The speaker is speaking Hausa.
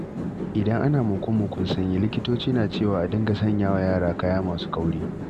Idan ana muku-mukun sanyi, likitoci na cewa a dinga sanya wa yara kaya masu kauri